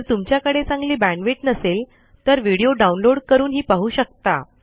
जर तुमच्याकडे चांगली बॅण्डविड्थ नसेल तर व्हिडिओ डाउनलोड करून पाहू शकता